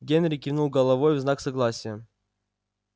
генри кивнул головой в знак согласия